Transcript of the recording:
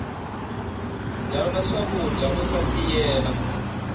dyana swakudya uta tiyela